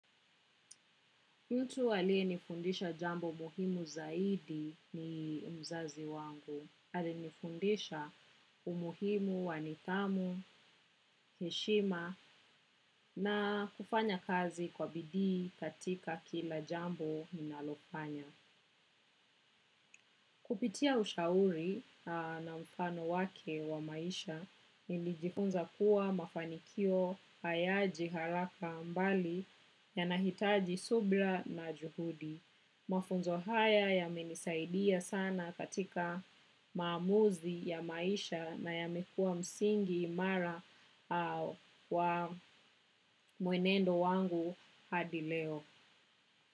Yutu wale nifundisha jambo muhimu zaidi ni mzazi wangu. Ali nifundisha umuhimu wa nidhamu, heshima na kufanya kazi kwa bidii katika kila jambo ninalo fanya. Kupitia ushauri na mfano wake wa maisha, nilijifunza kuwa mafanikio hayaji haraka mbali yanahitaji subra na juhudi. Mafunzo haya ya menisaidia sana katika maamuzi ya maisha na ya mekua msingi imara wa mwenendo wangu hadileo.